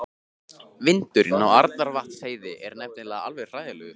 Vindurinn á Arnarvatnsheiði er nefnilega alveg hræðilegur.